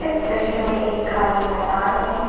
दृश्य में एक खाली मैदान है।